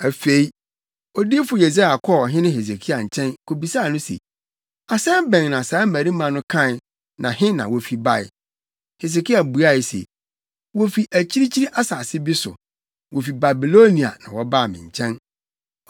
Afei Odiyifo Yesaia kɔɔ ɔhene Hesekia nkyɛn, kobisaa no se, “Asɛm bɛn na saa mmarima no kae na he na wofi bae?” Hesekia buae se, “Wofi akyirikyiri asase bi so. Wofi Babilonia, na wɔbaa me nkyɛn.”